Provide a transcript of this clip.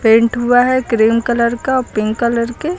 Paint हुआ है cream colour का पिंक कलर के।